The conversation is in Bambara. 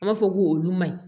An b'a fɔ ko olu ma ɲi